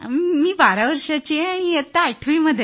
मी 12 वर्षाची आहे आणि मी इयत्ता 8 वी मध्ये आहे